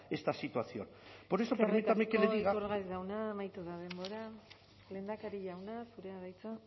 esta situación por eso permítame que le diga eskerrik asko iturgaiz jauna amaitu da denbora lehendakari jauna zurea da hitza